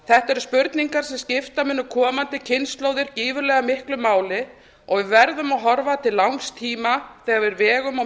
þetta eru spurningar sem skipta munu komandi kynslóðir gífurlega miklu máli og við verðum að horfa til langs tíma þegar við vegum og